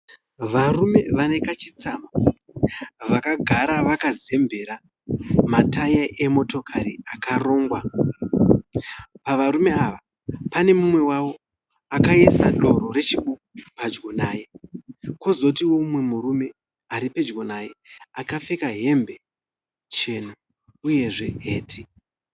Varume vanekachitsama vakagara vakazembera ma tayi emotokari akarongwa . Pava rume ava pane mumwe wavo akaisa doro re chibuku pedyo naye. Kozoti mumwe murume aripedyo naye akapfeka hembe chena uyezve heti.